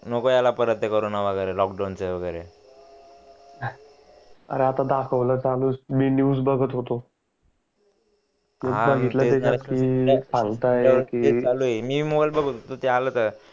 नको यायला ते करोंना वागरे लॉक डाउन वागरे अरे आता धखवण चालूच मी आता न्यूज बघत होतो